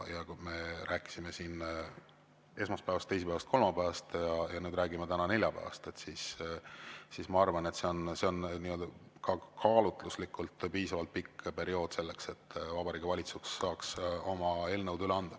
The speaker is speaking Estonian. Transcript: Ja kui me rääkisime siin esmaspäevast, teisipäevast, kolmapäevast ja räägime täna neljapäevast, siis ma arvan, et see on ka kaalutluslikult piisavalt pikk periood selleks, et Vabariigi Valitsus saaks oma eelnõud üle anda.